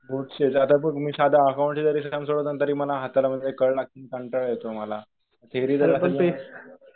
बोर्डचे. आता बघ मी साधं अकाउंटच जरी सेशन सोडवलं ना तरी मला हाताला कळ लागते. कंटाळा येतो मला. थेरीला तर